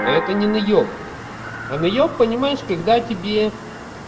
это не наеб а наеб понимаешь когда тебе